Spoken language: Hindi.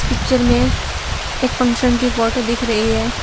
पिक्चर में एक फंक्शन की फोटो दिख रही है।